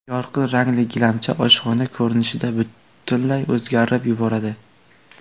Yorqin rangli gilamcha oshxona ko‘rinishini butunlay o‘zgartirib yuboradi.